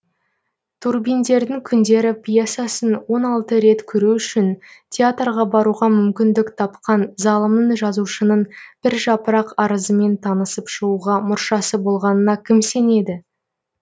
турбиндердің күндері пьесасын он алты рет көру үшін театрға баруға мүмкіндік тапқан залымның жазушының бір жапырақ арызымен танысып шығуға мұршасы болмағанына кім сенеді